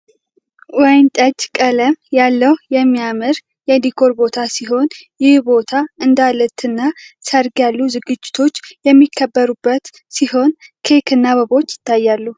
ወይነ ጠጅ ቀለም ያለው የሚያምር የዲኮር ቦታ ሲሆን ይህ ቦታ እንዳልትና ሰርግ ያሉ ዝግጅቶች የሚከበሩበት ሲሆን ኬክ እና አበቦች ይታያሉ።